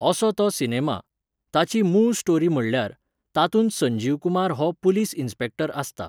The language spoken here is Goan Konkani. असो तो सिनेमा. ताची मूळ स्टोरी म्हणल्यार, तातूंत संजीव कुमार हो पुलीस इनस्पेक्टर आसता